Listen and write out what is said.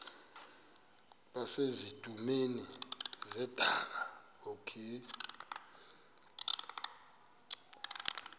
base zitulmeni zedaka